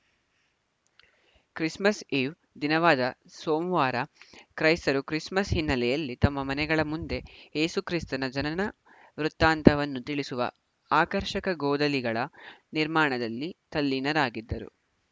Christmas eve ದಿನವಾದ ಸೋಮವಾರ ಕ್ರೈಸ್ತರು ಕ್ರಿಸ್‌ಮಸ್‌ ಹಿನ್ನೆಲೆಯಲ್ಲಿ ತಮ್ಮ ಮನೆಗಳ ಮುಂದೆ ಏಸು ಕ್ರಿಸ್ತನ ಜನನ ವೃತ್ತಾಂತವನ್ನು ತಿಳಿಸುವ ಆಕರ್ಷಕ ಗೋದಲಿಗಳ ನಿರ್ಮಾಣದಲ್ಲಿ ತಲ್ಲೀನರಾಗಿದ್ದರು